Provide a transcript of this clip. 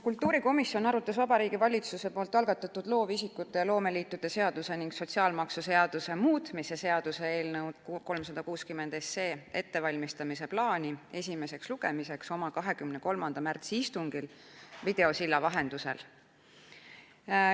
Kultuurikomisjon arutas Vabariigi Valitsuse algatatud loovisikute ja loomeliitude seaduse ning sotsiaalmaksuseaduse muutmise seaduse eelnõu 360 esimeseks lugemiseks ettevalmistamise plaani oma 23. märtsi istungil videosilla vahendusel.